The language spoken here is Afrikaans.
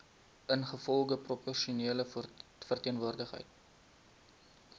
ingevolge proporsionele verteenwoordiging